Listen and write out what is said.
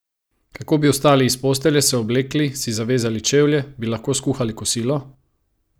Kako bi vstali iz postelje, se oblekli, si zavezali čevlje, bi lahko skuhali kosilo?